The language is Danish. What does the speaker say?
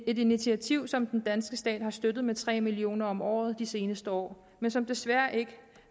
et initiativ som den danske stat har støttet med tre million kroner om året de seneste år men som desværre ikke